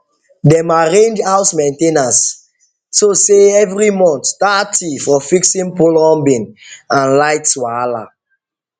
dem arrange house main ten ance so sey every month thirty for fixing plumbing and lights wahala